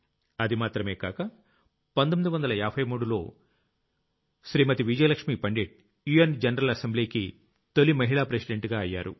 అది మాత్రమే కాక 1953లో శ్రీమతి విజయలక్ష్మీ పండిట్ యుఎన్ జనరల్ Assemblyకి తొలి మహిళా ప్రెసిడెంట్ అయ్యారు